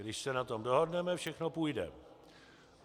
Když se na tom dohodneme, všechno půjde.